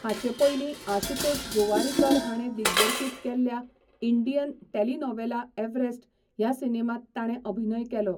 हाचेपयलीं आशुतोष गोवारीकर हाणें दिग्दर्शीत केल्ल्या 'इंडियन टेलिनोवेला एव्हरेस्ट' ह्या सिनेमांत ताणें अभिनय केलो.